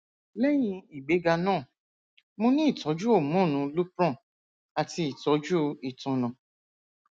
lẹyin igbega naa mo ni itọju homonu lupron ati itọju itanna